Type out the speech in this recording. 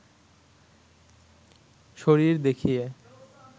শরীর দেখিয়ে